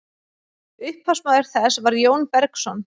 upphafsmaður þess var jón bergsson